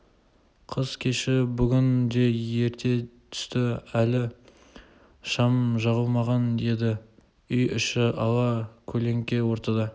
қыс кеші бүгін де ерте түсті әлі шам жағылмаған еді үй іші ала көлеңке ортада